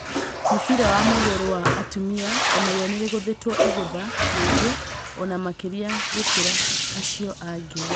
Mũbira wa magũrũ wa atumia onarĩo nĩrĩgũthitwo igűtha, rĩngĩ ona makĩria gũkĩra acio angĩ.